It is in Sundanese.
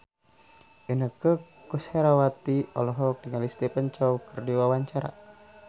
Inneke Koesherawati olohok ningali Stephen Chow keur diwawancara